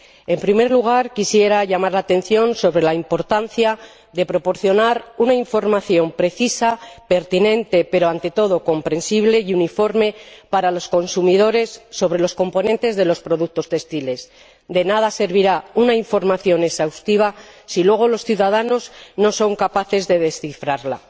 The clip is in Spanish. En primer lugar, quisiera llamar la atención sobre la importancia de proporcionar una información precisa, pertinente pero, ante todo, comprensible y uniforme para los consumidores sobre los componentes de los productos textiles de nada servirá una información exhaustiva si luego los ciudadanos no son capaces de descifrarla.